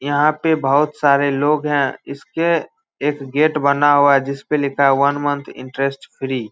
यहां पर बोहोत सारे लोग हैं। इसके एक गेट बना हुआ है जिस पे लिखा है वन मंथ इंटरेस्ट फ्री ।